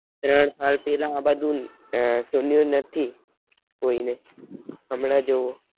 ત્રણ સાલ પેલા આ બાજ નું સનયુ નથી કોઈ ને હમણાં જોવો.